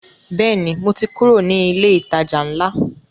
Bẹ́ẹ̀ni, mo ti kúrò ní ilé ìtajà ńlá